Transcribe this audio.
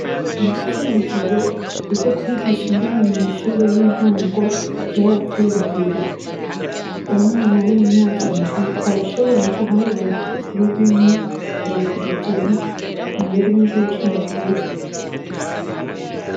Muri kino gihe ivyo kwigisha indimi mumashure yintango vyarateye imbere umwana wimyaka indwi arashobora guharura kuva kuri rimwe kugera kwijana mururimi rwicongereza